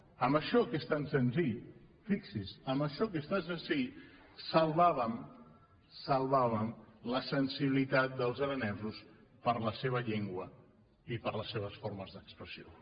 amb això que és tan senzill fixin se amb això que és tan senzill salvàvem salvàvem la sensibilitat dels aranesos per la seva llengua i per les seves formes d’expressió